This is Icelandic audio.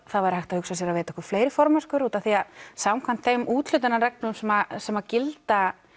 það væri hægt að hugsa sér að veita okkur fleiri formennskur út af því að samkvæmt þeim úthlutunarreglum sem sem gilda